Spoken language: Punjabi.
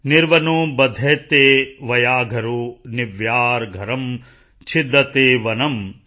ਨਿਰਵਨੋ ਬਧਯਤੇ ਵਯਾਘਰੋ ਨਿਰਵਯਾਰਘਰੰ ਛਿਦਯਤੇ ਵਨਮ